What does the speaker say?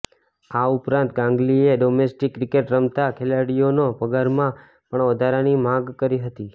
આ ઉપરાંત ગાગંલીએ ડોમેસ્ટિક ક્રિકેટ રમતા ખેલાડીઓના પગારમાં પણ વધારાની માગ કરી હતી